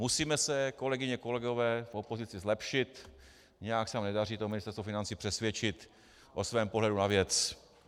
Musíme se, kolegyně, kolegové, v opozici zlepšit, nějak se nám nedaří to Ministerstvo financí přesvědčit o svém pohledu na věc.